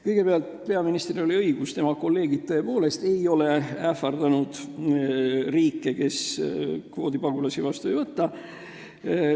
Kõigepealt, peaministril oli õigus: tema kolleegid ei ole ähvardanud riike, kes kvoodipagulasi vastu ei võta.